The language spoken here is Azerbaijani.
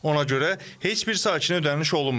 Ona görə heç bir sakinə ödəniş olunmayıb.